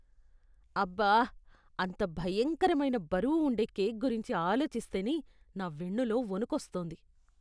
అబ్బా, అంత భయంకరమైన బరువు ఉండే కేక్ గురించి ఆలోచిస్తేనే నా వెన్నులో వణుకొస్తోంది.